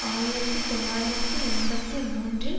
ஆயிரத்து தொள்ளாயிரத்து எண்பத்தி மூன்றில்